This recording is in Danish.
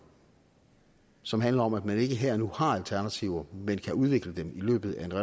som handler om at man ikke her og nu har alternativer men kan udvikle dem i løbet af